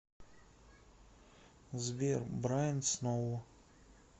сбер брайн сноу